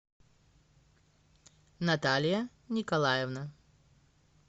наталия николаевна